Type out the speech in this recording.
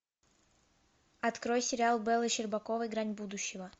открой сериал беллы щербаковой грань будущего